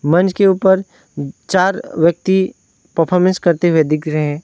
मंच के ऊपर चार व्यक्ति परफॉर्मेंस करते हुए दिख रहे हैं।